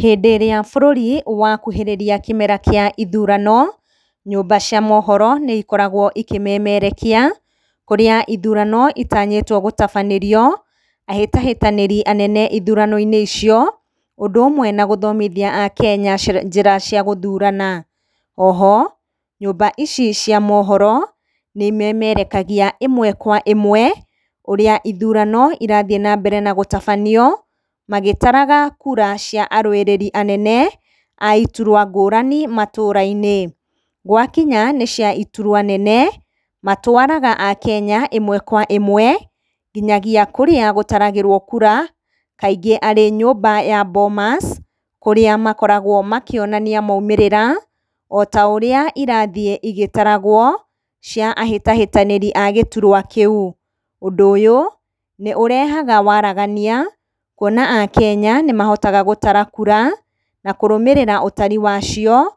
Hĩndĩ ĩrĩa bũrũri wakuhĩrĩria kĩmera kĩa ithurano, nyũmba cia mohoro nĩ ikoragwo ikĩmemerekia, kũrĩa ithurano itanyĩtwo gũtabanĩrio, ahĩtahĩtanĩri anene ithurano-inĩ icio, ũndũ ũmwe na gũthomithia akenya cĩra, njĩra cia gũthurana. Oho, nyũmba ici cia mohoro nĩ imemerekagia, ĩmwe kwa ĩmwe ũrĩa ithurano irathiĩ nambere na gũtabanio, magĩtaraga kura cia arũĩrĩri anene a iturwa ngũrani matũra-inĩ. Gwakinya nĩ cia iturwa nene, matwaraga akenya ĩmwe kwa ĩmwe nginyagia kũrĩa gũtaragĩrwo kura, kaingĩ arĩ nyũmba ya Bomas, kũrĩa makoragwo makĩonania maumĩrĩra ota ũrĩa irathiĩ igĩtaragwo, cia ahĩtahĩtanĩri a gĩturwa kĩu. Ũndũ ũyũ nĩ ũrehaga waragania, kwona akenya nĩmahotaga gũtara kura na kũrũmĩrĩra ũtari wacio